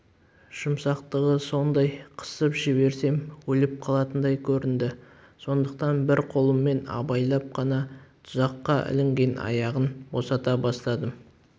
жұмсақтығы сондай қысып жіберсем өліп қалатындай көрінді сондықтан бір қолыммен абайлап қана тұзаққа ілінген аяғын босата бастадым